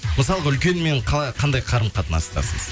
мысалға үлкенмен қандай қарым қатынастасыз